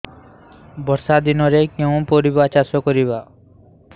ବର୍ଷା ଦିନରେ କେଉଁ କେଉଁ ପରିବା ଚାଷ କରିବା